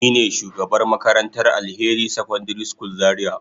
Nine shugabar makarantar Alheri secondary school zaria.